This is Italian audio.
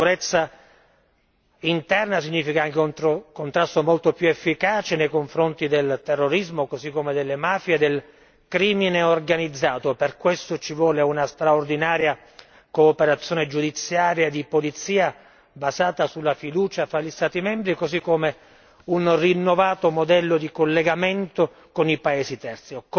La sicurezza interna significa anche un contrasto molto più efficace contro il terrorismo così come contro le mafie e il crimine organizzato per questo ci vuole una straordinaria cooperazione giudiziaria e di polizia, basata sulla fiducia tra gli Stati membri, e contestualmente un rinnovato modello di collegamento con i paesi terzi.